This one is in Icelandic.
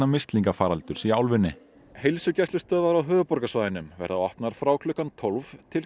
mislingafaraldurs í álfunni heilsugæslustöðvar á höfuðborgarsvæðinu verða opnar frá klukkan tólf til